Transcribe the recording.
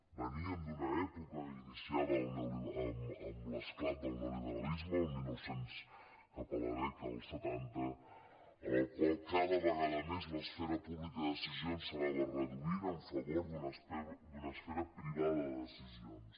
veníem d’una època iniciada amb l’esclat del neoliberalisme cap a la dècada dels setanta en la qual cada vegada més l’esfera pública de decisions s’anava reduint en favor d’una esfera privada de decisions